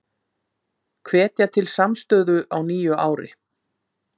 Hvetja til samstöðu á nýju ári